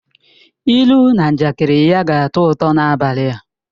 Ilu na njakịrị ya ga-atọ ụtọ n'abalị a